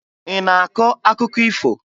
Ị na-akọ akụkọ ifo?